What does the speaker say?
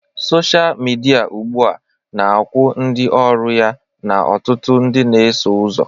Sọsha midia ugbu a na-akwụ ndị ọrụ ya na ọtụtụ ndị na-eso ụzọ